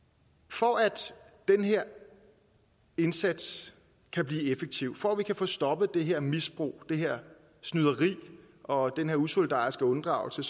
for at den her indsats kan blive effektiv for at vi kan få stoppet det her misbrug det her snyderi og den her usolidariske unddragelse